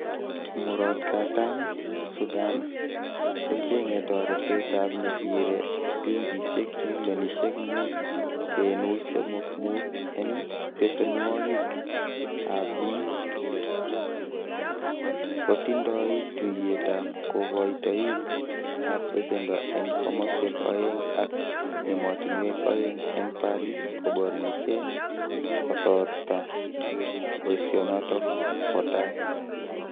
Murot Katam Sudan, kochenge toretetab nesire silingisiek trilionisiek mut kenuch somok mut en besenwogik ab bii, kotindoi tuyetab kokoitoik ab besendo en komoswek oeng ak emotinwek oeng, en Paris koborchinge kotorta boisionoton kwo taa.